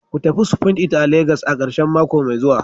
Ku tafi spoon It a Legas a karshen mako mai zuwa